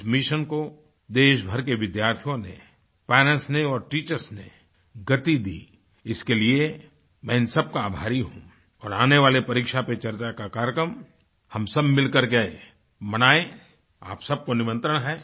इस मिशन को देशभर के विद्यार्थियों नेपेरेंट्स ने और टीचर्स ने गति दी इसके लिए मैं इन सबका आभारी हूँऔर आने वाली परीक्षा चर्चा का कार्यक्रम हम सब मिलकर के मनाएँ आप सब को निमंत्रण हैं